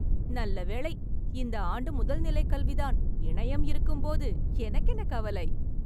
நல்லவேளை இந்த ஆண்டு முதல் நிலை கல்வி தான். இணையம் இருக்கும்போது எனக்கு என்ன கவலை!